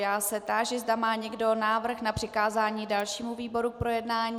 Já se táži, zda má někdo návrh na přikázání dalšímu výboru k projednání.